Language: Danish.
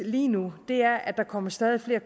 lige nu er at der kommer stadig flere